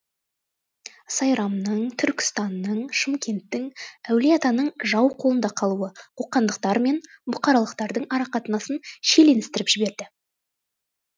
сайрамның түркістанның шымкенттің әулиеатаның жау қолында қалуы қоқандықтар мен бұқаралықтардың арақатынасын шиеленістіріп жіберді